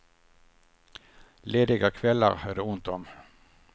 Lediga kvällar är det ont om.